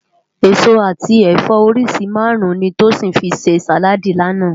Esó ati ẹfọ óriṣi márùn ni Tosin fi sé sáládì làná